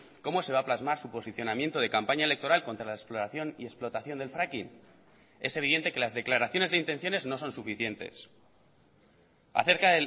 cómo se va a plasmar su posicionamiento de campaña electoral contra la exploración y explotación del fracking es evidente que las declaraciones de intenciones no son suficientes acerca